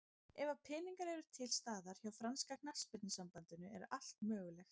Ef að peningar eru til staðar hjá franska knattspyrnusambandinu er allt mögulegt.